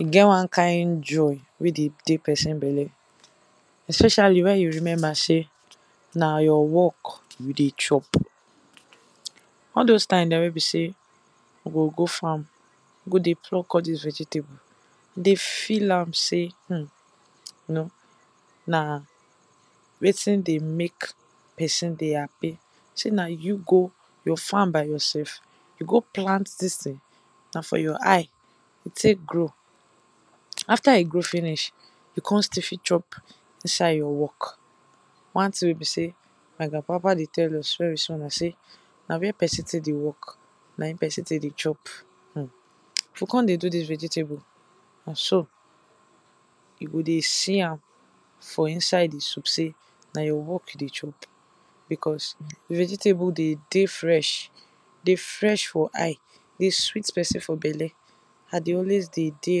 E get one kind joy wey dey dey person belle, especially wen you remember sey na your work you dey chop. All doz times dem wey be sey we go go farm go dey plug all dis vegetable, we dey feel am sey you know na wetin dey make person dey happy, sey na you go farm by yourself you go plant dis thing, na for your eye e take grow, after e grow finish you come fit still chop in side your work. One thing wey be sey my grandpapa dey tell us wey we small be sey, na where person take dey work, na where person take dey chop, we come dey do this vegetable, you go come dey see am for inside di soup sey na your work you dey chop, because di vegetable dey dey fresh, dey fresh for eye, dey sweet person for belle, I dey always dey dey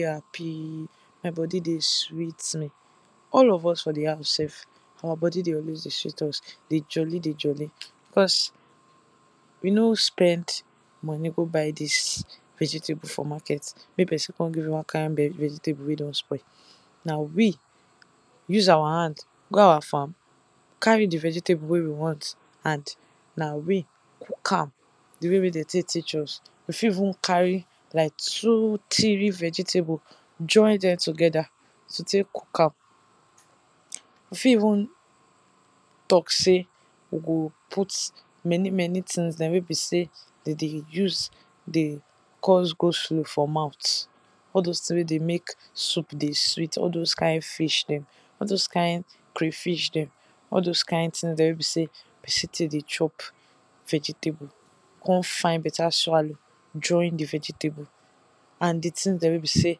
happy, my body dey sweet me, all of us for di house sef, our body dey always dey sweet us, dey jolly dey jolly, as we no spend money go buy dis vegetable for market, make person come bring one kind vegetable wey don spoil. Na we use our hand go our farm carry di kind vegetable wey we want and na we cook am di way wey dem take teach us, we fit even carry like two, three vegetable, join dem together to take cook am, we fit even talk sey, we go put many many things dem wey be sey dem dey use dey cause go slow for mouth, all doz thing wey dey make soup dey sweet, all doz kind fish dem, all doz kind cray fish dem, all doz kind thing dem wey be sey person take dey chop vegetable, come find better swallow take join di vegetable and di things dem wey be sey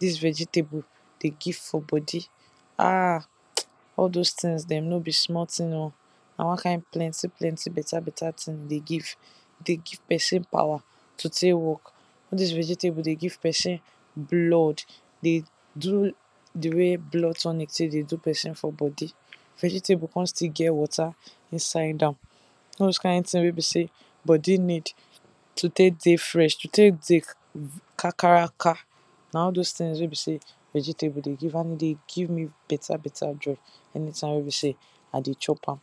dis vegetable dey give for body, ah, all doz things dem no be small thing oh, na one kind plenty plenty better better thing e dey give. Dey give person power to take work, all dis vegetable dem dey give person blood, dey do di way blood tonic take dey do person for body, vegetable come still get water inside am, all doz kind thing wey be sey body need to take dey fresh, to take dey kakaraka, na all doz things wey be sey vegetable dey give and e dey give me better better joy anytime wey be sey, I dey chop am.